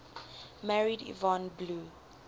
married yvonne blue